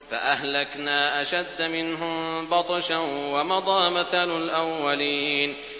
فَأَهْلَكْنَا أَشَدَّ مِنْهُم بَطْشًا وَمَضَىٰ مَثَلُ الْأَوَّلِينَ